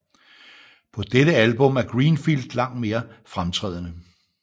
På dette album er Greenfield langt mere fremtrædende